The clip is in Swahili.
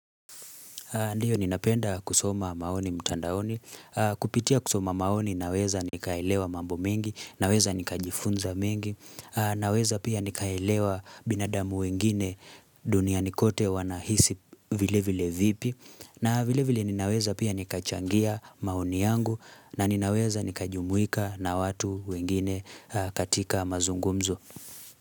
Ndiyo ninapenda kusoma maoni mtandaoni, kupitia kusoma maoni naweza nikaelewa mambo mengi, naweza nikaajifunza mengi, naweza pia nikaelewa binadamu wengine dunia nikote wanahisi vile vile vipi, na vile vile ninaweza pia nika changia maoni yangu na ninaweza nika jumuika na watu wengine katika mazungumzo.